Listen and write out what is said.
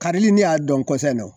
Karili ne y'a dɔn kɔsan in na o.